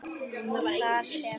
og þar sem